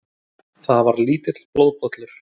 Það var lítill blóðpollur.